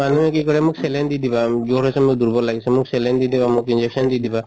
মানুহে কি কৰে মোক saline দি দিবা জ্বৰ হৈছে মোৰ দুৰ্বল লাগিছে। মোক saline দি দিবা, মোক injection দি দিবা